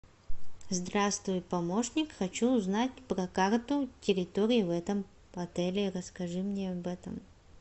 здравствуй помощник хочу узнать про карту территории в этом отеле расскажи мне об этом